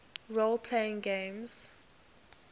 role playing games